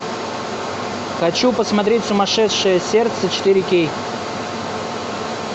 хочу посмотреть сумасшедшее сердце четыре кей